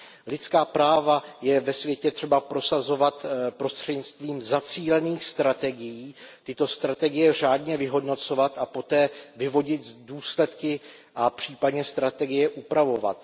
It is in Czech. Lidská práva je ve světě třeba prosazovat prostřednictvím zacílených strategií, tyto strategie řádně vyhodnocovat a poté vyvodit důsledky a případně strategie upravovat.